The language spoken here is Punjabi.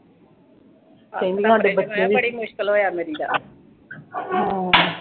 ਕੱਲ੍ਹ ਨੂੰ ਸਾਡੇ ਬੱਚੇ ਵੀ ਹਮ